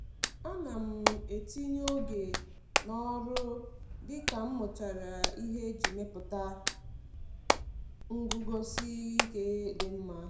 Ana m etinye oge n'ọrụ dị ka m mụchara ihe iji mepụta nguzosi ike dị mma.